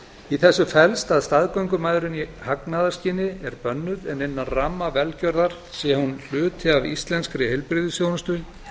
í þessu felst að staðgöngumæðrun í hagnaðarskyni er bönnuð en innan ramma velgjörðar sé hún hluti af íslenskri heilbrigðisþjónustu